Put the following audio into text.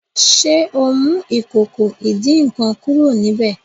ṣe ọ mú Ìkòkò ìdín-nǹkan kúrò níbẹ?